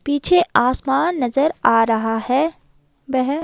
पीछे आसमान नजर आ रहा है वह--